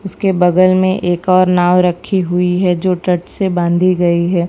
उसके बगल में एक और नाव रखी हुई है जो तट से बांधी गई है।